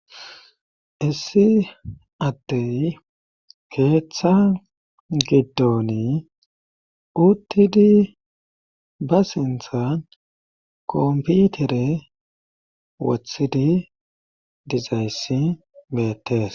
issi attey keeththa giddoni uttidi ba sinthan komputere wothidi dizayssi beettees